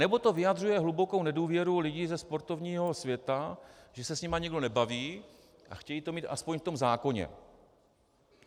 Anebo to vyjadřuje hlubokou nedůvěru lidí ze sportovního světa, že se s nimi nikdo nebaví, a chtějí to mít aspoň v tom zákoně.